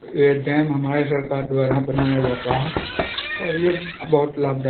ये डैम हमारे सरकार द्वारा बनाया जाता है और ये बहुत लाभदायक --